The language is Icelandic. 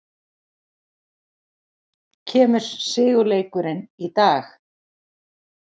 Kemur sigurleikurinn í dag?